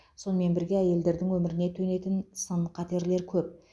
сонымен бірге әйелдердің өміріне төнетін сын қатерлер көп